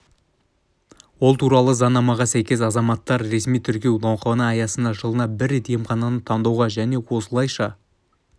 ол туралы заңнамаға сәйкес азаматтар ресми тіркеу науқаны аясында жылына бір рет емхананы таңдауға және осылайша